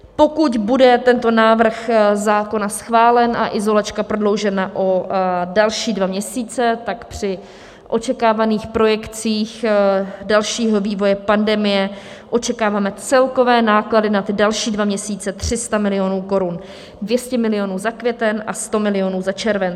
Pokud bude tento návrh zákona schválen a izolačka prodloužena o další dva měsíce, tak při očekávaných projekcích dalšího vývoje pandemie očekáváme celkové náklady na ty další dva měsíce 300 milionů korun, 200 milionů za květen a 100 milionů za červen.